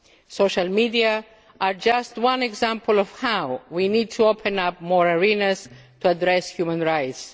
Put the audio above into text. Social media are just one example of how we need to open up more arenas to address human rights.